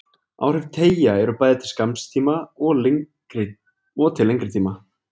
Áhrif teygja eru bæði til skamms tíma og til lengri tíma.